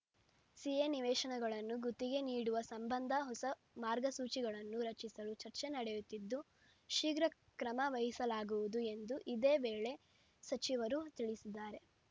CA ನಿವೇಶನಗಳನ್ನು ಗುತ್ತಿಗೆ ನೀಡುವ ಸಂಬಂಧ ಹೊಸ ಮಾರ್ಗಸೂಚಿಗಳನ್ನು ರಚಿಸಲು ಚರ್ಚೆ ನಡೆಯುತ್ತಿದ್ದು ಶೀಘ್ರ ಕ್ರಮವಹಿಸಲಾಗುವುದು ಎಂದು ಇದೇ ವೇಳೆ ಸಚಿವರು ತಿಳಿಸಿದಾರೆ